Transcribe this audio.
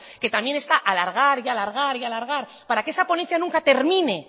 que también está alargar alargar y alargar para que esa ponencia nunca termine